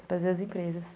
trazer as empresas.